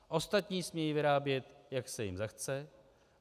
Ostatní smí vyrábět, jak se jim zachce.